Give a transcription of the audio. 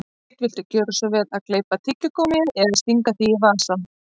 Sveinn, viltu gjöra svo vel að gleypa tyggigúmmíið eða stinga því í vasann